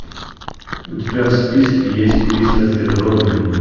у тебя в списке есть кристофер робин